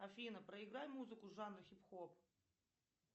афина проиграй музыку жанра хип хоп